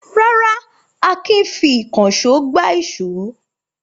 Rárá, Akin fi ìkànṣó gbá ìṣó.